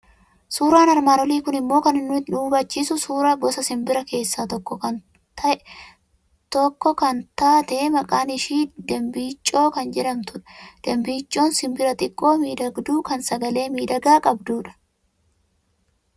Suuraan armaan olii kun immoo kan inni nu hubachiisu suuraa gosa simbiraa keessaa tokko taate kan maqaan ishii dimbiiccoo jedhamtu dha. Dimbiiccoon simbira xiqqoo miidhagduu, kan sagalee miidhagaa qabdu dha.